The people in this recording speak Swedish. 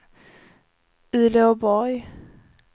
Uleåborg